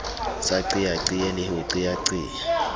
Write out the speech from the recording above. sa qeaqee le ho qeaqea